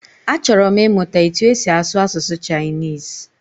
A chọrọ m ịmụta etu esi asụ asụsụ Chinese.